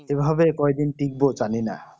এই ভাবে কয়দিন টিকবো জানিনা